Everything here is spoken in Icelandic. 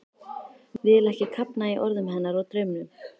Vil ekki kafna í orðum hennar og draumum.